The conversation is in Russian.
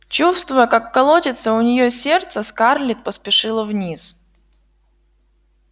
чувствуя как колотится у неё сердце скарлетт поспешила вниз